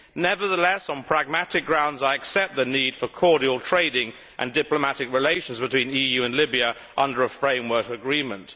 Nevertheless, on pragmatic grounds, I accept the need for cordial trading and diplomatic relations between the EU and Libya under a framework agreement.